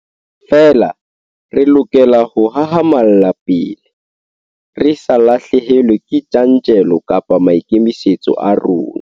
Feela re lokela ho hahamalla pele, re sa lahlehelwe ke tjantjello kapa maikemisetso a rona.